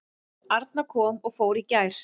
Arna kom og fór í gær.